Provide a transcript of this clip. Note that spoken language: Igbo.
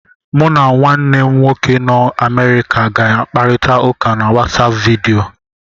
Mụ na nwanne m nwoke nọ n'Amerịka ga-akparita ụka na WatsAapụ vidiyo.